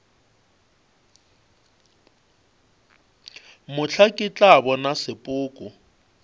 mohla ke tla bona sepoko